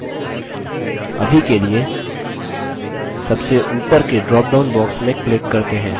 अभी के लिए सबसे उपर के drop down box में click करते हैं